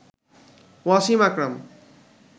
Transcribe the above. Wasim Akram